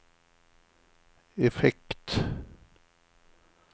effekt